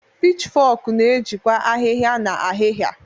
Pichfok na-ejikwa ahihia na ahịhịa.